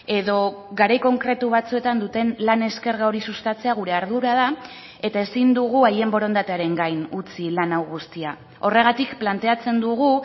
edo garai konkretu batzuetan duten lan eskerga hori sustatzea gure ardura da eta ezin dugu haien borondatearen gain utzi lan hau guztia horregatik planteatzen dugu